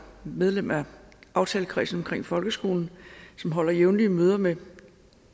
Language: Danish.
medlem af aftalekredsen omkring folkeskolen som holder jævnlige møder med